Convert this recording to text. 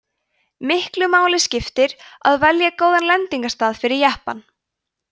miklu máli skipti að velja góðan lendingarstað fyrir jeppann